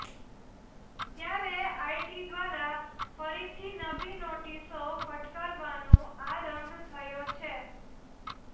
ત્યારે આઈટી દ્વારા ફરીથી નવી નોટિસો ફટકારવાનો આરંભ થયો છે